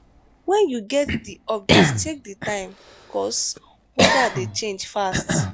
when you get di update check di time cause weda dey change fast